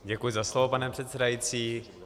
Děkuji za slovo, pane předsedající.